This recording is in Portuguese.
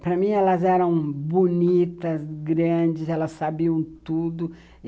Para mim, elas eram bonitas, grandes, elas sabiam tudo.